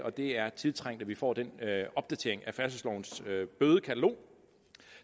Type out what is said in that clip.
og det er tiltrængt at vi får den opdatering af færdselslovens bødekatalog